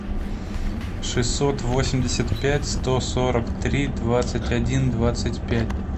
шестьсот восемьдесят пять сто сорок три двадцать один двадцать пять